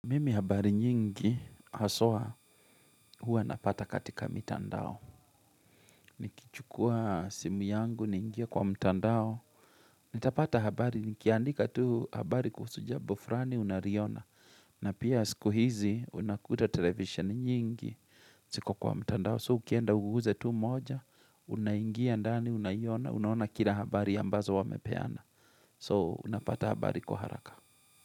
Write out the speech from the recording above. Mimi habari nyingi haswa huwa napata katika mitandao. Nikichukua simu yangu ningie kwa mtandao. Nitapata habari, nikiandika tu habari kuhusu jambo fulani unaliona. Na pia siku hizi unakuta televisheni nyingi ziko kwa mtandao. So ukienda uguze tu moja, unaingia ndani, unaiona, unaona kila habari ambazo wamepeana. So unapata habari kwa haraka.